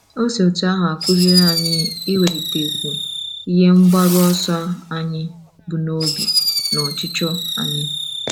O si otú ahụ akụziri anyị iwelitekwu ihe mgbaru ọsọ anyi bu n'obi na ọchịchọ anyị.